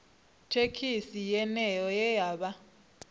thekhisi yeneyo ye vha vha